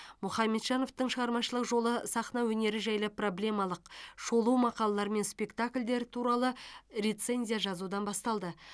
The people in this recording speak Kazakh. мұхамеджановтың шығармашылық жолы сахна өнері жайлы проблемалық шолу мақалалар мен спектакльдер туралы рецензия жазудан басталды